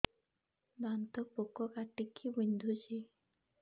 ଦାନ୍ତ ପୋକ କାଟିକି ବିନ୍ଧୁଛି